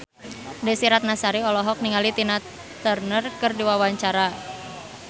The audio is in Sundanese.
Desy Ratnasari olohok ningali Tina Turner keur diwawancara